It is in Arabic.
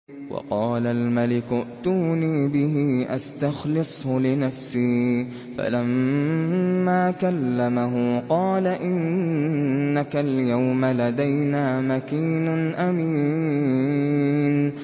وَقَالَ الْمَلِكُ ائْتُونِي بِهِ أَسْتَخْلِصْهُ لِنَفْسِي ۖ فَلَمَّا كَلَّمَهُ قَالَ إِنَّكَ الْيَوْمَ لَدَيْنَا مَكِينٌ أَمِينٌ